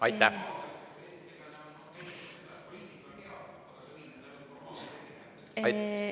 Aitäh!